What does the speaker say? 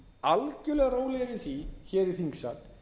algjörlega rólegir yfir því hér í þingsal